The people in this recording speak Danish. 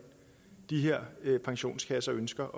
de her pensionskasser ønsker